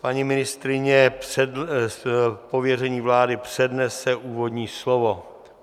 Paní ministryně z pověření vlády přednese úvodní slovo.